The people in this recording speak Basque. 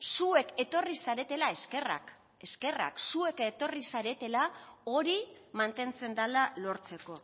zuek etorri zaretela eskerrak eskerrak zuek etorri zaretela hori mantentzen dela lortzeko